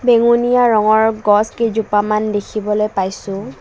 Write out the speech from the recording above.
বেঙুনীয়া ৰঙৰ গছ কেইজোপামান দেখিবলৈ পাইছোঁ।